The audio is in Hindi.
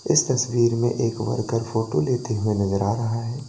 इस तस्वीर में एक वर्कर फोटो लेते हुए नजर आ रहा है।